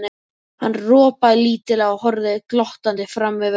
Hann ropaði lítillega og horfði glottandi fram yfir rúmið.